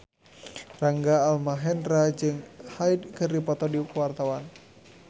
Rangga Almahendra jeung Hyde keur dipoto ku wartawan